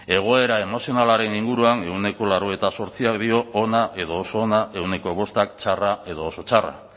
egoera emozionalaren inguruan ehuneko laurogeita zortzik dio ona edo oso ona ehuneko bostk txarra edo oso txarra